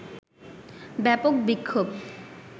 ব্যাপক বিক্ষোভ